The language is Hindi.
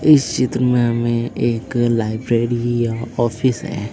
इस चित्र में हमें एक लाइब्रेरी या ऑफिस है।